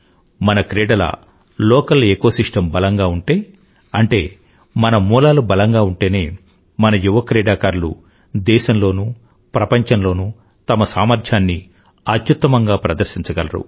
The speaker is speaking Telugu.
మన క్రీడల లోకల్ ఎకోసిస్టమ్ బలంగా ఉంటే అంటే మన మూలాలు బలంగా ఉంటేనే మన యువ క్రీడాకారులు దేశంలోనూ ప్రపంచంలోనూ తమ సామర్థ్యాన్ని అత్యుత్తమంగా ప్రదర్శించగలరు